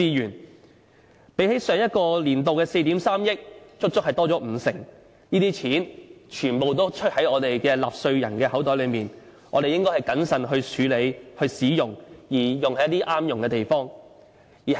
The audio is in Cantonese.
相比前一個年度的4億 3,000 萬元，足足增加五成，這些錢全部出於納稅人的口袋，我們應該謹慎處理和使用，並且用在一些合適的地方。